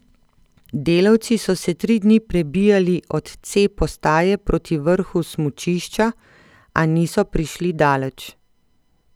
Delavci so se tri dni prebijali od C postaje proti vrhu smučišča, a niso prišli daleč.